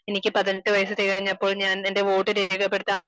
എനിക്ക് പതിനെട്ടു വയസ്സ് തികഞ്ഞപ്പോൾ ഞാൻ എന്റെ വോട്ട് രേഖപ്പെടുത്താൻ